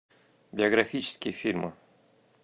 биографические фильмы